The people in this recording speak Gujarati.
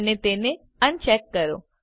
અને તેને અનચેક કરો